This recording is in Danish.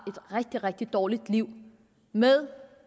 rigtig rigtig dårligt liv med